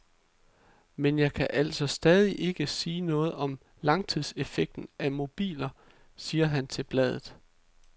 Men jeg kan altså stadig ikke sige noget om langtidseffekten af mobiler, sige han til bladet.